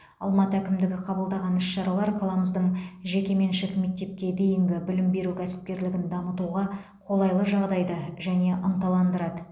алматы әкімдігі қабылдаған іс шаралар қаламыздың жекеменшік мектепке дейінгі білім беру кәсіпкерлігін дамытуға қолайлы жағдайды және ынталандырады